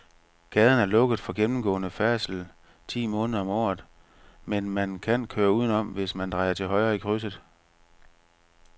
Gaden er lukket for gennemgående færdsel ti måneder om året, men man kan køre udenom, hvis man drejer til højre i krydset.